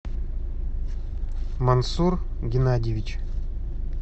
мансур геннадьевич